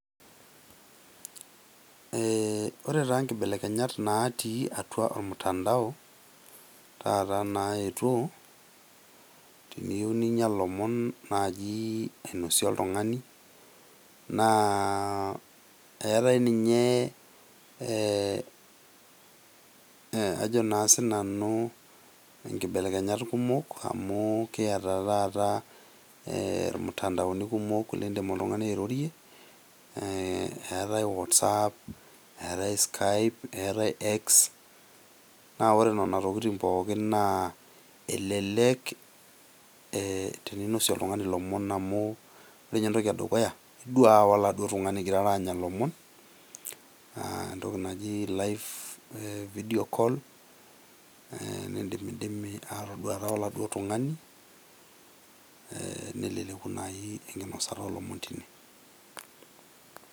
Ee ore taa nkibelekenyat natii atua ormutandao taata naetuo, teniyieu ninya lomon taata ainosie oltungani , naa eetae ninye ee ajo naa sinanu enkibelekenyat kumok amu kiata taata e irmutandaoni kumok oleng lindim oltungani airorie ee etae whatsapp , etae skype etae x naa ore nena tokitin pookin naa elelek teninosie oltungani lomon amu ore ninye entoki edukuya iduaa oladuoo tungani ingirara anya lomon aa entoki naji live video call nindimidimi atoduata oladii tungani , neleleku enkinosata olomon tine.